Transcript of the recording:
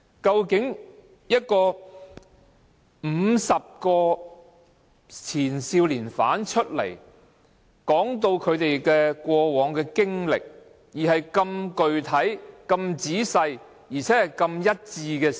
現時有50名前少年犯出來講述其過往經歷，而且內容相當具體、仔細及具一致性。